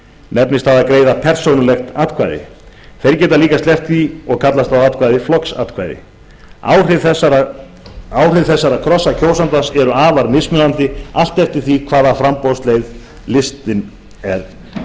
nefnist það að greiða persónulegt atkvæði þeir geta líka sleppt því og kallast atkvæðið þá flokksatkvæði áhrif þessara krossa kjósandans eru afar mismunandi allt eftir því hvaða framboðsleið listinn hefur